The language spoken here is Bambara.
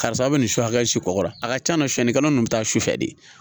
Karisa aw bɛ nin su hakili kɔ la a ka can na suyɛnnikɛla ninnu bɛ taa su fɛ de